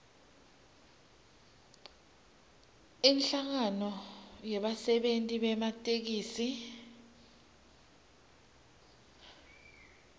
inhlangano yebasebenti bematekisi